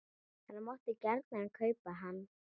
Hann mátti gjarnan kaupa hann.